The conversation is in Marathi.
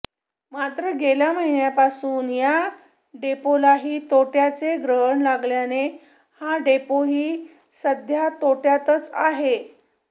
मात्र गेल्या महिन्यांपासून या डेपोलाही तोट्याचे ग्रहण लागल्याने हा डेपोही सध्या तोट्यातच आहे